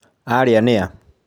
Arĩa nĩa?